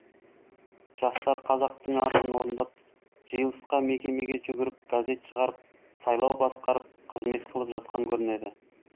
жастар қазақтың арызын орындап жиылысқа мекемеге жүгіріп газет шығарып сайлау басқарып қызмет қылып жатқан көрінеді